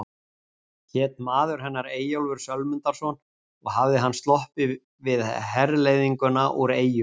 Hét maður hennar Eyjólfur Sölmundarson og hafði hann sloppið við herleiðinguna úr Eyjum.